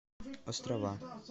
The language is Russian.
острова